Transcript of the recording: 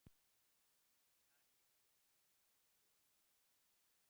Það er mikil vinna en ég er tilbúinn fyrir áskorunina.